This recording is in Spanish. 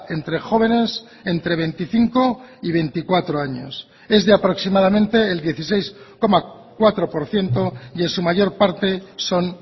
entre jóvenes entre veinticinco y veinticuatro años es de aproximadamente el dieciséis coma cuatro por ciento y en su mayor parte son